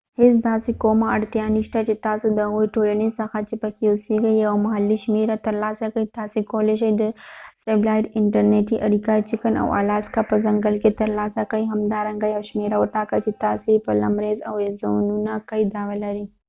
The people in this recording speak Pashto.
هیڅ داسې کومه اړتیا نشته چې تاسې د هغې ټولنې څخه چې پکې اوسېږئ یو محلي شمېره ترلاسه کړئ تاسې کولې شئ چې د سټیلایټ انټرنیټي اړیکه د چکن او آلاسکا په ځنګل کې ترلاسه کړئ همدارنګه یو شمیره وټاکئ چې تاسې یې په لمریز اریزونا کې دعوه لرئ